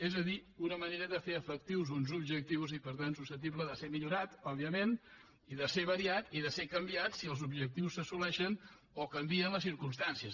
és a dir una manera de fer efectius uns objectius i per tant susceptible de ser millorada òbviament i de ser variada i de ser canviada si els objectius s’assoleixen o canvien les circumstàncies